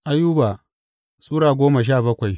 Ayuba Sura goma sha bakwai